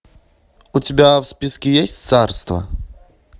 у тебя в списке есть царство